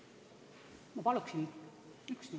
Ma palun ühe minuti lisaaega!